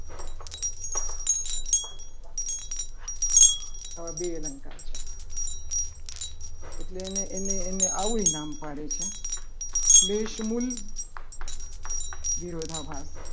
આ બે અલંકાર છે. એટલે એને એને એને આવું એ નામ પાડે છે. ફ્લેશ મૂલ વિરોધાભાસ